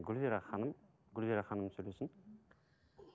гүлзира ханым гүлзира ханым сөйлесін